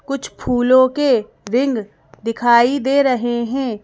कुछ फूलों के रिन दिखाई दे रहे हैं।